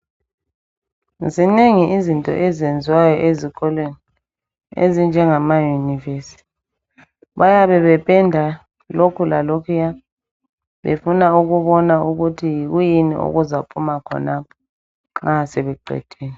Zinengi izinto ezenziwayo ezikolweni ezinjengamayunivesi. Bayabe bependa lokhu lalokhuya befuna ukubona ukuthi yikwiyini okuzaphuma khonapho nxa sebeqedile.